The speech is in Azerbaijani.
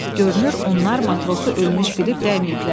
Görünür onlar matrosu ölmüş bilib dəyməyiblər.